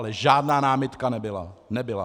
Ale žádná námitka nebyla. Nebyla.